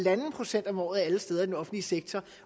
procent om året alle steder i den offentlige sektor